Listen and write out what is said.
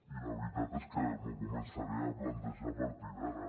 i la veritat és que m’ho començaré a plantejar a partir d’ara